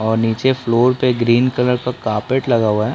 और नीचे फ्लोर पे ग्रीन कलर का कार्पेट लगा हुआ है ।